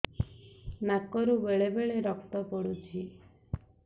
ନାକରୁ ବେଳେ ବେଳେ ରକ୍ତ ପଡୁଛି